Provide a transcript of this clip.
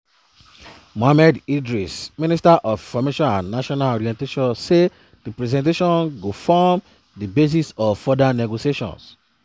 mohammed idris minister of information and national orientation say di presentation go form di basis of further negotiations.